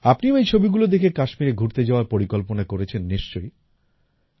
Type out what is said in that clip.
আপনিও এই ছবিগুলো দেখে কাশ্মীরে ঘুরতে যাওয়ার পরিকল্পনা করেছেন নিশ্চয়ই